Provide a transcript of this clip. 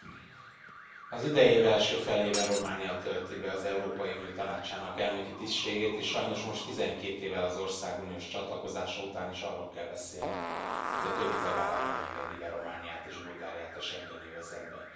Tisztelt Elnök Asszony! Az idei év első felében Románia tölti be az Európai Unió Tanácsának elnöki tisztségét és sajnos most, 12 évvel az ország uniós csatlakozása után is arról kell beszélnünk, hogy a többi tagállam nem engedi be Romániát és Bulgáriát a schengeni övezetbe.